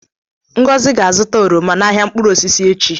Ngozi ga-azụta oroma n'ahịa mkpụrụ osisi echi.